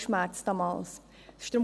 Sie schmerzten damals auch mich.